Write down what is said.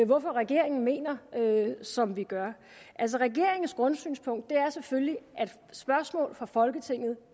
hvorfor regeringen mener som vi gør regeringens grundsynspunkt er selvfølgelig at spørgsmål fra folketinget